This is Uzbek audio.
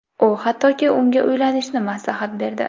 U, hattoki unga uylanishni maslahat berdi.